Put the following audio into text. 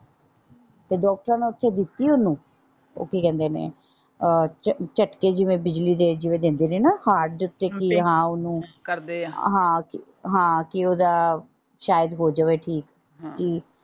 ਤੇ ਡਾਕਟਰ ਨੇ ਓਥੇ ਦਿੱਤੇ ਓਹਨੂੰ ਉਹ ਕੀ ਕਹਿੰਦੇ ਨੇ ਅਹ ਝਟਕੇ ਜਿਵੇਂ ਬਿਜਲੀ ਦੇ ਜਿਵੇਂ ਦਿੰਦੇ ਨੇ ਨਾ ਜਿਵੇਂ ਹਾਰਟ ਦੇ ਉੱਤੇ ਕੀ ਆ ਓਹਨੂੰ ਹਾਂ ਕਿ ਓਹਦਾ ਸ਼ਾਇਦ ਹੋਜਾਵੇ ਠੀਕ।